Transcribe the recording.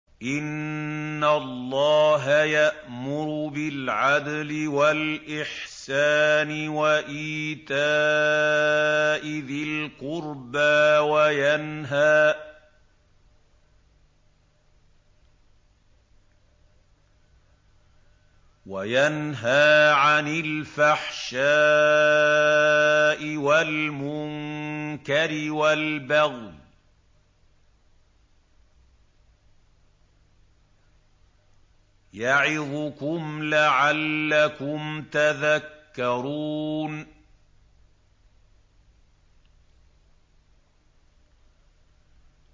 ۞ إِنَّ اللَّهَ يَأْمُرُ بِالْعَدْلِ وَالْإِحْسَانِ وَإِيتَاءِ ذِي الْقُرْبَىٰ وَيَنْهَىٰ عَنِ الْفَحْشَاءِ وَالْمُنكَرِ وَالْبَغْيِ ۚ يَعِظُكُمْ لَعَلَّكُمْ تَذَكَّرُونَ